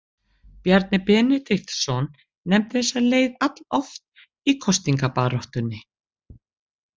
Bjarni Benediktsson nefndi þessa leið alloft í kosningabaráttunni.